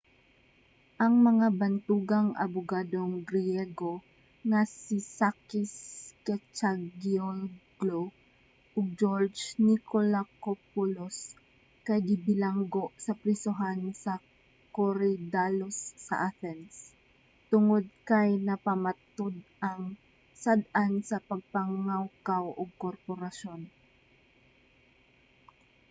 ang mga bantugang abugadong griyego nga si sakis kechagiolglou ug geroge nikolakopoulos kay gibilanggo sa prisohan sa korydallus sa athens tungod kay napamatud-ang sad-an sa pagpangawkaw ug korapsyon